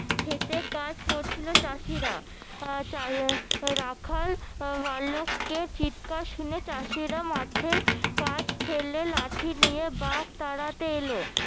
খেতে চাষ করছিলো চাষিরা রাখাল বালকের চিৎকার শুনে চাষিরা মাঠের কাজ ফেলে লাঠি নিয়ে বাঘ তাড়াতে এলো